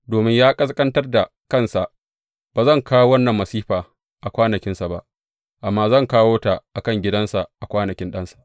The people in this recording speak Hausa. Domin ya ƙasƙantar da kansa, ba zan kawo wannan masifa a kwanakinsa ba, amma zan kawo ta a kan gidansa a kwanakin ɗansa.